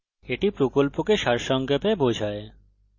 এটি কথ্য tutorial প্রকল্পকে সারসংক্ষেপে বোঝায়